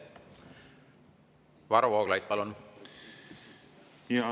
Varro Vooglaid, palun!